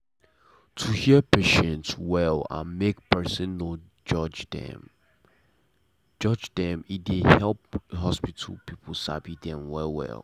to hear patient well and make person no judge dem judge dem e dey help hospital people sabi dem wella.